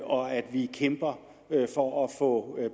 og at vi kæmper for at få